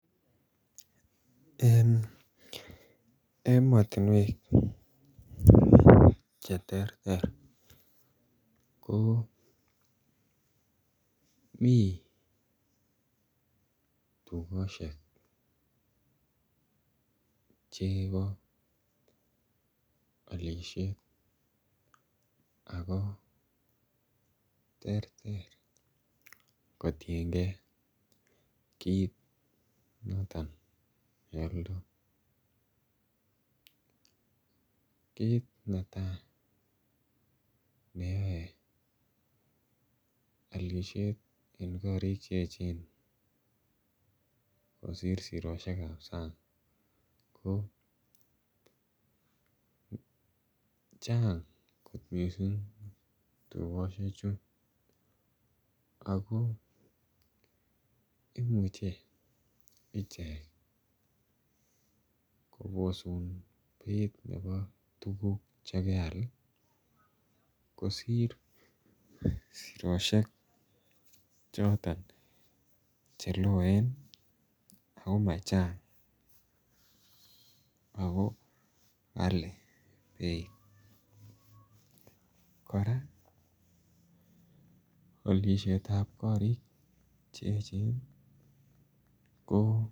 En emotinwek che terter ko mii tugoshek chebo olishet ako terter kotiengee kit noton ne oldo. Kit noton netaa neyoe olishet en korik che echen kosir siroshekab sang ko Chang kot missing tugoshek chu ako imuche ichek kobosun beit nebo tuguk che keal ii kosir sirosheek che loen ako machang ako kalii beit koraa olishet korik che echen ko